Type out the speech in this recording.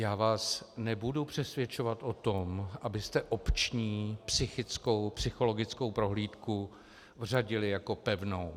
Já vás nebudu přesvědčovat o tom, abyste opční, psychickou, psychologickou prohlídku vřadili jako pevnou.